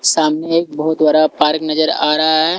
सामने एक बहोत बड़ा पार्क नजर आ रहा हैं।